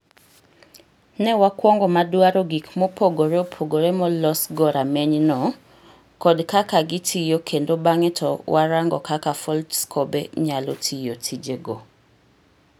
Ne wakuongo madwaro gik mopogre opogre molosgo ramenyno[microscop]kod kaka gitiyo kendo bang'e to warango kaka Foldscope nyalo tiyo tijego.